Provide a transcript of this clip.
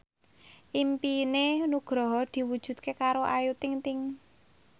impine Nugroho diwujudke karo Ayu Ting ting